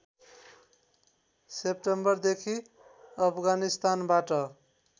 सेप्टेम्बरदेखि अफगानिस्तानबाट